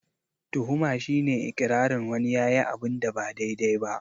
Tuhuma shi ne iƙirarin wani yayi abunda ba daidai ba